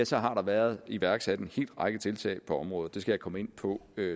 til har der været iværksat en hel række tiltag på området det skal jeg komme ind på